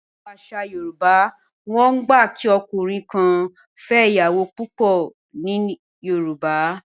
In Yoruba tradition, a man is allowed to marry more than one wife